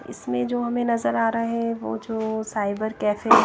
इसमें जो हमें नजर आ रहा है वो जो साइबर कैफे है।